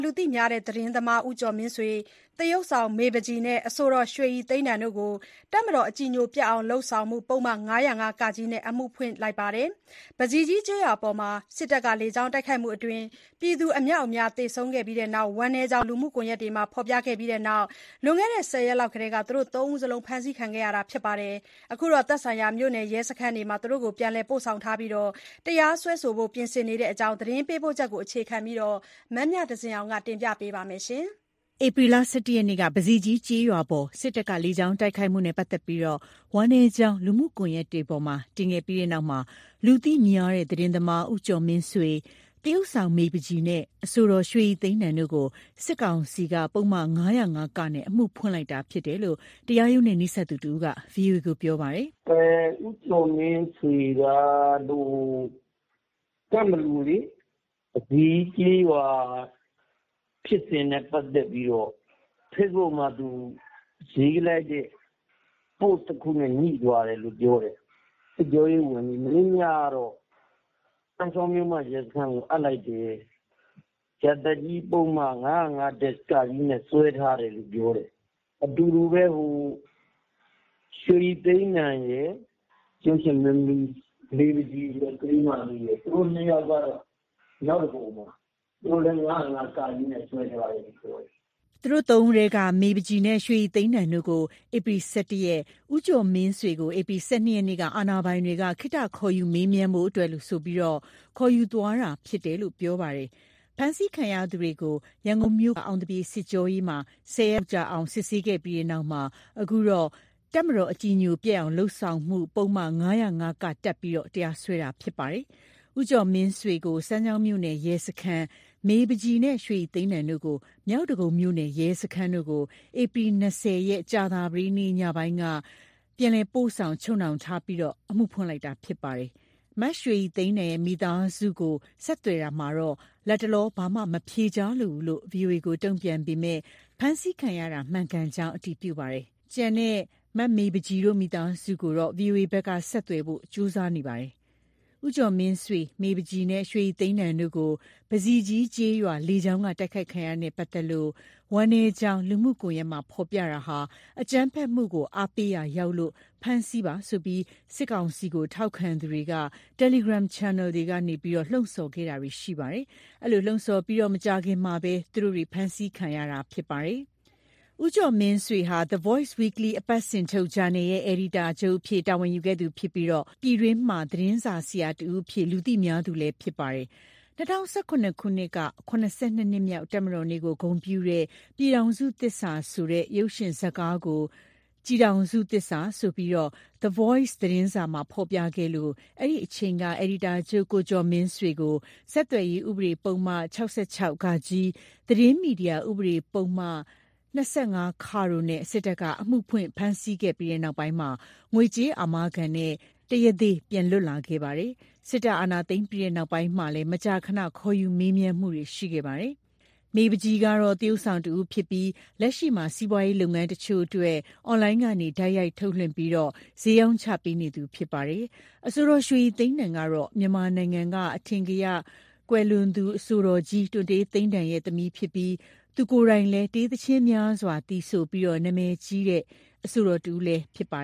လူသိများတဲ့ သတင်းသမား ဦးကျော်မင်းဆွေ၊ သရုပ်ဆောင် မေပန်းချီနဲ့ အဆိုတော် ရွှေရည်သိန်းတန်တို့ကိုတပ် မတော် အကြည်ညိုပျက်အောင် လုပ်ဆောင်မှု ပုဒ်မ ၅၀၅-က နဲ့ အမှုဖွင့်လိုက်ပါတယ်။ ပဇီကြီးကျေးရွာအပေါ် စစ်တပ်လေကြောင်းတိုက်ခိုက်မှုအတွင်း ပြည်သူအမြောက်အများ သေဆုံးခဲ့ပြီးနောက် ဝမ်းနည်းကြောင်း လူမှုကွန်ရက်တွေပေါ်မှာ ဖော်ပြခဲ့ကြပြီးနောက် လွန်ခဲ့တဲ့ ၁၀ ရက်လောက်ထဲက ၃ ယောက်လုံး ဖမ်းဆီးခံခဲ့ကြရတာပါ။ အခုတော့ သက်ဆိုင်ရာမြို့နယ်ရဲစခန်းမှာ ပြန်လည်ပို့ဆောင်ထားပြီး တရားစွဲဖို့ ပြင်ဆင်နေတဲ့အကြောင်း သတင်းပေးပို့ချက်ကို အခြေခံပြီး မမြသဇင်အောင်က ပြောပြပါမယ်။ ဧပြီလ ၁၁ ရက်က ပဇီကြီးကျေးရွာအပေါ် စစ်တပ်က လေကြောင်းတိုက်ခိုက်မှုနဲ့ပတ်သက်လို့ ဝမ်းနည်းကြောင်း လူမှုကွန်ယက်တွေပေါ်မှာတင်ခဲ့ပြီးနောက် လူသိများတဲ့ သတင်းသမား ဦးကျော်မင်းဆွေ၊ သရုပ်ဆောင် မေပန်းချီနဲ့ အဆိုတော် ရွှေရည်သိန်းတန်တို့ကို စစ်ကောင်စီက ပုဒ်မ ၅၀၅-က နဲ့ အမှုဖွင့်လိုက်တာဖြစ် တယ်လို့တရားရုံးနဲ့ နီးစပ်သူတဦးက ဗွီအိုအေကိုပြောပါတယ်။ "ကိုကျော်မင်းဆွေကို ကန့်ဘလူ ပဇီးကျေးရွာ ဖြစ်စဉ်နဲ့ပတ်သတ်ပြီးတော့ ဖေ့ဘုတ်မှာတင်ရေး လိုက်တာနဲ့ပတ်သတ်လို့ညှိုတယ်ပြောတယ်။ စစ်ကြောရေးဝင် စမ်းချောင်းမြို့မရဲစခန်းအပ်လိုက်တယ်။ ရာဇသတ်ကြီးပုဒ်မ ၅၀၅-ကနဲ့စွဲထားတယ်လို့ပြောတယ်။ သူနဲ့အတူတူဘဲ အဆိုတော် ရွှေရည်သိန်းတန်ရယ် မင်းသမီးမေပန်းချီရယ် သူတို့တွေက မြောက်ဒဂုံမှာသူတို့လည်း ၅၀၅-ကနဲ့စွဲထားတယ်ပြောတယ်။" သူတို့ ၃ ဦးထဲက မေပန်းချီနဲ့ ရွှေရည်သိန်းတန်ကို ဧပြီ ၁၁ ရက်၊ ဦးကျော်မင်းဆွေကို ဧပြီ ၁၂ ရက်နေ့မှာ အာဏာပိုင်တွေက ခေတ္တ ခေါ်ယူမေးမြန်းဖို့အတွက်ဆိုကာ ခေါ်ယူသွားခဲ့တာဖြစ်တယ်လို့ ပြောပါတယ်။ ဖမ်းဆီးခံရသူတွေကို ရန်ကုန်မြို့က အောင်သပြေ စစ်ကြောရေးမှာ ၁၀ ရက်လောက်ကြာအောင် စစ်ဆေးခဲ့ပြီးနောက် အခုတော့ မတော် အကြည်ညိုပျက်အောင် လုပ်ဆောင်မှု ပုဒ်မ ၅၀၅-က တပ်ပြီး တရားစွဲတာဖြစ်ပါတယ်။ ဦးကျော်မင်းဆွေကို စမ်းချောင်းမြိုန့ယ်ရဲစခန်း၊ မေပန်းချီ၊ ရွှေရည်သိန်းတန်တို့ကို မြောက်ဒဂုံမြို့နယ် ရဲစခန်းတို့ကို ဧပြီ ၂၀ ရက် ကြာသပတေးနေ့ ညပိုင်းက ပြန်လည်ပို့ဆောင်ချုပ်နှောင်ထားပြီး အမှုဖွင့်လိုက်တာဖြစ်ပါတယ်။ မရွှေရည်သိန်းတန်မိသားစုကိုဆက်သွယ်တာမှာတော့ လတ်တလော ဘာမှမဖြေကြားလိုဘူးလို့ ဗွီအိုအေကိုတုံပြန်ပေမယ့် ဖမ်းဆီးခံရတာမှန်ကန်ကြောင်း အတည်ပြုခဲ့ပါတယ်။ ကျန်တဲ့ မမေပန်းချီမိသားစုထံကိုတော့ ဗွီအိုအေဘက်က ဆက်သွယ်ဖို့ကြိုးစားနေပါတယ်။ ဦးကျော်မင်းဆွေ၊ မမေပန်းချီနဲ့ ရွှေရည်သိန်းတန်တို့ကို ပဇီကြီးကျေးရွာ လေကြောင်းကနေ တိုက်ခိုက်ခံရတာနဲ့ ပတ်သက်လို့ ဝမ်းနည်းကြောင်း လူမှုကွန်ရက်မှာ ဖော်ပြတာက အကြမ်းဖက်မှုကို အားပေးရာ ရောက်လို့ ဖမ်းဆီးပါ ဆိုပြီး စစ်ကောင်စီကိုထောက်ခံသူတွေက တယ်လီဂရန်ချန်နယ်တွေကနေ လှုံ့ဆော်ခဲ့တာတွေရှိခဲ့ပါတယ်။ အဲဒီလိုလှုံ့ဆော်ခဲ့ပြီးမကြာခင်မှာဘဲ သူတို့တွေ ဖမ်းဆီးခံခဲ့ရတာဖြစ်ပါတယ်။ ဦးကျော်မင်းဆွေဟာ The Voice Weekly အပတ်စဉ်ထုတ်ဂျာနယ်ရဲ့ အယ်ဒီတာချုပ်အဖြစ် တာဝန်ယူခဲ့သူဖြစ်ပြီး ပြည်တွင်းမှာ သတင်းစာဆရာတစ်ဦးအဖြစ် လူသိများသူလည်း ဖြစ်ပါတယ်။ ၂၀၁၇ ခုနှစ်က ၇၂ နှစ်မြောက် တပ်မတော်နေ့ကို ဂုဏ်ပြုတဲ့ ပြည်ထောင်စုသစ္စာဆိုတဲ့ ရုပ်ရှင်ဇတ်ကားကို ကျည်ထောင်စုသစ္စာဆိုပြီး The Voice သတင်းစာမှာ ဖော်ပြခဲ့လို့ အဲဒီအချိန်က အယ်ဒီတာချုပ် ကိုကျော်မင်းဆွေကို ဆက်သွယ်ရေးဥပဒေ ပုဒ်မ ၆၆-ဃ၊ သတင်းမီဒီယာ ဥပဒေ ပုဒ်မ ၂၅ တို့နဲ့ စစ်တပ်က အမှုဖွင့် ဖမ်းဆီးခဲ့ပြီး နောက်ပိုင်းမှာ ငွေကြေးအာမခံနဲ့ တရားသေ ပြန်လွတ်လာခဲ့ပါတယ်။ စစ်တပ်အာဏာသိမ်းပြီးနောက်မှာလည်း မကြာခဏ ခေါ်ယူမေးမြန်းမှုတွေရှိခဲ့ပါတယ်။ မေပန်းချီကတော့ သရုပ်ဆောင်တစ်ဦးဖြစ်ပြီး လက်ရှိမှာ စီးပွားရေးလုပ်ငန်းတချို့အတွက် အွန်လိုင်းကနေ တိုက်ရိုက် ထုတ်လွှင့်ပြီး ဈေးရောင်းချပေးနေသူဖြစ်ပါတယ်။ အဆိုတော်ရွှေရည်သိန်းတန် ကတော့ မြန်မာနိုင်ငံမှာ အထင်ကရ အဆိုတော် တွံတေးသိန်းတန် သမီးဖြစ်ကာ သူကိုယ်တိုင်လည်း တေးသီချင်းများစွာ သီဆိုကာနာမည်ကြီးခဲ့သူအဆိုတော် တဦးဖြစ်ပါ